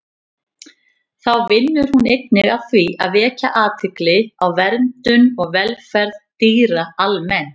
Þá vinnur hún einnig að því að vekja athygli á verndun og velferð dýra almennt.